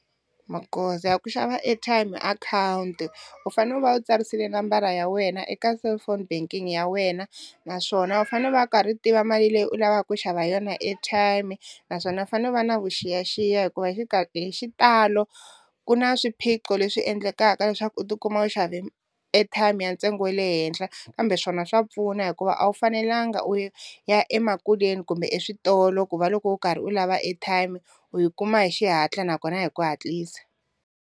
Magoza ya ku xava airtime hi akhawunti u fanele u va u tsarisile nambara ya wena eka cellphone banking ya wena naswona u fanele u va u karhi u tiva mali leyi u lavaka ku xava yona airtime, naswona u fanele u va na vuxiyaxiya hikuva hi hi xitalo ku na swiphiqo leswi endlekaka leswaku u tikuma u xave airtime ya ntsengo wa le henhla kambe swona swa pfuna hikuva a wu fanelanga u ya emakuleni kumbe eswitolo ku va loko u karhi u lava airtime u yi kuma hi xihatla nakona hi ku hatlisa.